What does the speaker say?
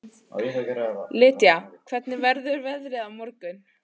Lýdía, hvernig verður veðrið á morgun?